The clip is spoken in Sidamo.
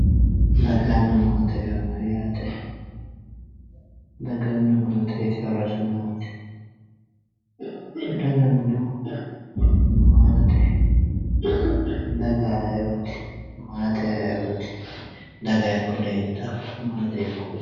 Daganna maate, daganna maateti horosi maati, daganna dagoomu maati, daga ayiioti, daga hiikko leelittano .